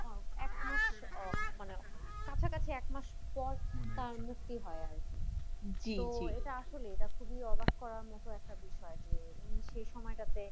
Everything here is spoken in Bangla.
এক মাস উহ মানে কাছাকাছি এক মাস পর তার মুক্তি হয় আরকি, তো এটা আসলে এটা খুবই অবাক করার মতো একটা বিষয় যে উনি সে সময়টাতে।